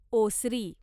ओसरी